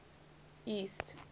east